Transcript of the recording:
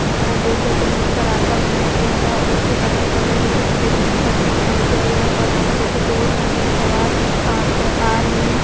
सामने ने आप देख रहे हैं सिलमिट का रास्ता बनाया गया है और उसके अगल बगल देखिए सफेद रंग की पट्टी बनाई गई है और यहां पर देखिए दो स्कूटी से सवार अ इधर आ रही हैं।